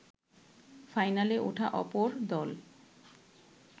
ফাইনালে ওঠা অপর দল